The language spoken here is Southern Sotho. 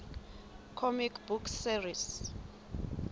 comic book series